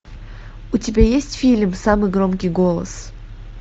у тебя есть фильм самый громкий голос